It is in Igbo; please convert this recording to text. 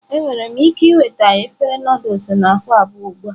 Enwere m ike ịnweta efere Nụdụls na akwa abụọ ugbu a?